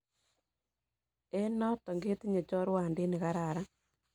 En noton ketinye chorwandit nekararan